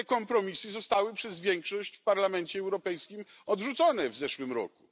Te kompromisy zostały przez większość w Parlamencie Europejskim odrzucone w zeszłym roku.